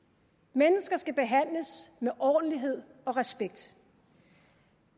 mennesker skal behandles med ordentlighed og respekt